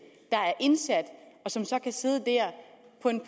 der er indsat og som så kan sidde der